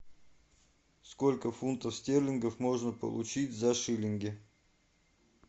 сколько фунтов стерлингов можно получить за шиллинги